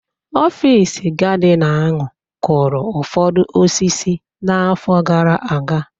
Ọfịs gardina ahu kụrụ ụfọdụ osisi n'afọ gara aga.